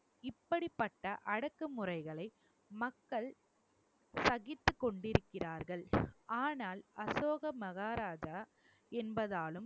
இப்படிப்பட்ட அடக்குமுறைகளை மக்கள் சகித்துக் கொண்டிருக்கிறார்கள் ஆனால் அசோக மகாராஜா என்பதாலும்